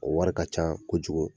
O wari ka ca kojugu